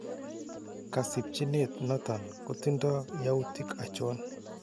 Kasibchinet noton kotindo yautik achon?